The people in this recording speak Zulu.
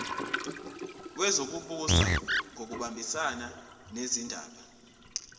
wezokubusa ngokubambisana nezindaba